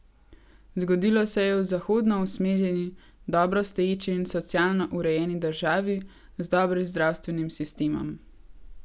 Zgodilo se je v zahodno usmerjeni, dobro stoječi in socialno urejeni državi, z dobrim zdravstvenim sistemom.